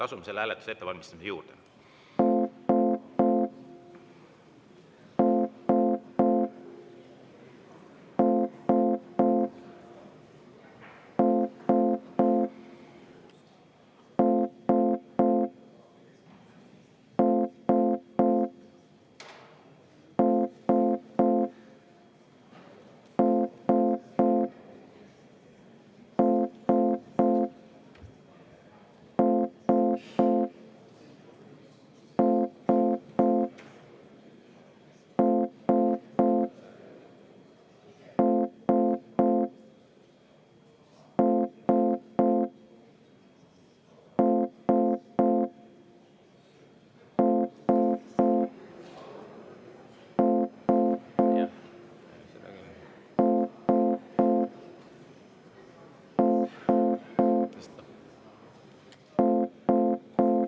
Asume selle hääletuse ettevalmistamise juurde.